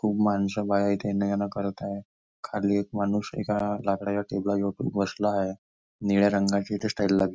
खुप माणस बाया इथे येणंजाणं करत आहे खाली एक माणूस एका लाकडच्या टेबला जवळ बसला आहे निळ्या रंगाची इथे स्टाइल लागली--